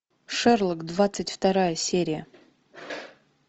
шерлок двадцать вторая серия